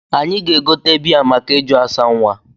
Anyị ga-egote bịa make ịjụ asa nwa